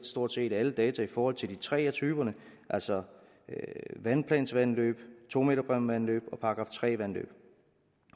stort set alle data i forhold til de tre af typerne altså vandplansvandløb to meterbræmmevandløb og § tre vandløb